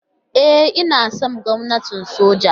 E, ina son gwamnatin soja.